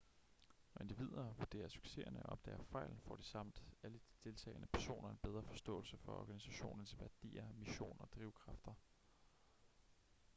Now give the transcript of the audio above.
når individer vurderer succeserne og opdager fejl får de samt alle de deltagende personer en bedre forståelse for organisationens værdier mission og drivkræfter